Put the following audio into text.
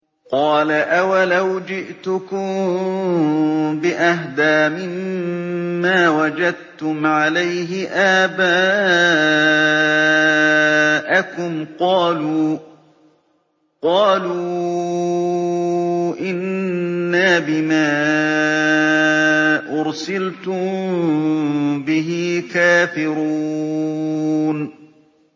۞ قَالَ أَوَلَوْ جِئْتُكُم بِأَهْدَىٰ مِمَّا وَجَدتُّمْ عَلَيْهِ آبَاءَكُمْ ۖ قَالُوا إِنَّا بِمَا أُرْسِلْتُم بِهِ كَافِرُونَ